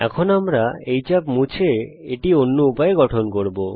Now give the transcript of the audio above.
এখন আমরা এই চাপ মুছে ফেলবো এবং এটা অন্য উপায়ে গঠন করব